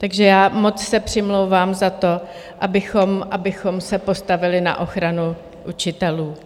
Takže já moc se přimlouvám za to, abychom se postavili na ochranu učitelů.